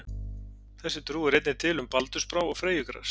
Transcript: Þessi trú er einnig til um baldursbrá og freyjugras.